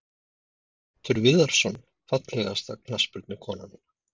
Pétur Viðarsson Fallegasta knattspyrnukonan?